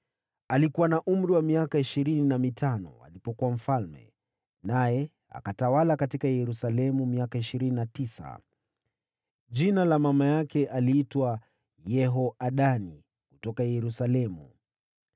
Alikuwa na umri wa miaka ishirini na mitano alipoanza kutawala, naye akatawala huko Yerusalemu kwa miaka ishirini na tisa. Mama yake aliitwa Yehoadani, kutoka Yerusalemu.